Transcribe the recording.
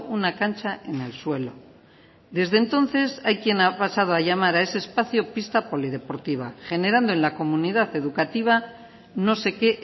una cancha en el suelo desde entonces hay quien ha pasado a llamar a ese espacio pista polideportiva generando en la comunidad educativa no sé qué